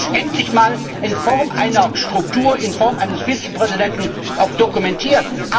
Jetzt wird es endlich einmal in Form einer Struktur, in Form eines Vizepräsidenten auch dokumentiert.